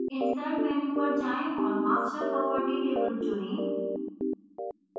insert menu पर जाएँ और master property table चुनें